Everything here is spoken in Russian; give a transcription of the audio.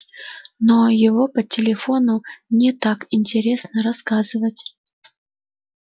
но его по телефону не так интересно рассказывать